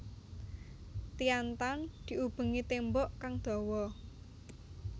Tian Tan diubengi tembok kang dhawa